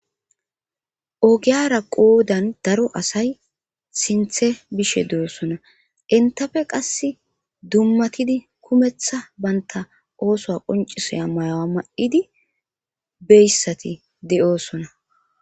Ogiyara qoodan daro asay sinthe bishe de'osona intafe qass dummatidi kumeththa banta oosoa qoncisoya mayawa ma'idi beyssati de'oosona